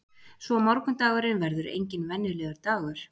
Svo morgundagurinn verður enginn venjulegur dagur.